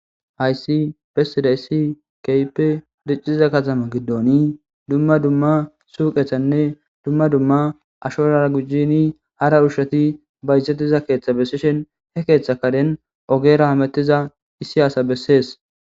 hayssi pesida issi kaype ricciza katama giddooni dumma dumma suuqethanne dumma dumma ashorara gujjini hara ushati bayzetiza keeththa bessishen he keeththa kaden ogera hamettiza issi asa bessees